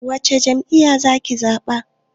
Wace jam'iya za ki zaɓa?